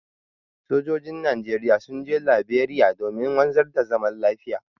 Sojojin Najeriya sun je Laberiya domin wanzar da zaman lafiya.